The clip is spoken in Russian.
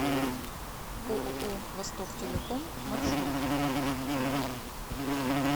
ооо востоктелеком маршрут